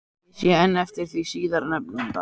Ég sé enn eftir því síðar nefnda.